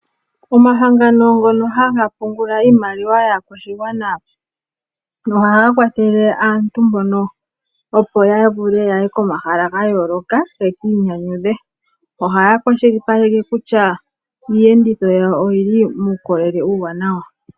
Omahangano ngono haga pungula iimaliwa yaakwashigwana ohaga kwathele aantu mbono, opo yaye komahala ga yooloka ye kiinyanyudhe ohaya kwashilipaleke kutya iiyenditho yawo oyili muukolele uuwanawa.